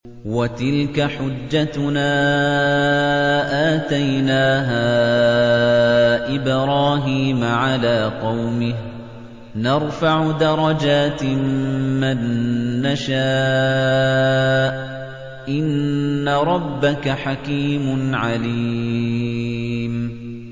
وَتِلْكَ حُجَّتُنَا آتَيْنَاهَا إِبْرَاهِيمَ عَلَىٰ قَوْمِهِ ۚ نَرْفَعُ دَرَجَاتٍ مَّن نَّشَاءُ ۗ إِنَّ رَبَّكَ حَكِيمٌ عَلِيمٌ